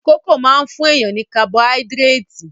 Kókò máa fún èèyàn ní kabọáídírétì